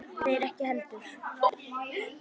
Þeir ekki heldur.